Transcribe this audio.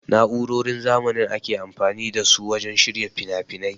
Na'urorin zamanin ake amfani da su wajen shirya finafinai.